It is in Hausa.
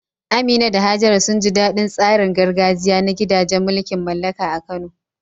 Amina da Hajara sun ji daɗin tsarin gargajiya na gidajen mulkin mallaka a Kano.